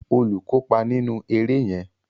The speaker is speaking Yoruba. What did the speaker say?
Olú kópa nínú eré yẹn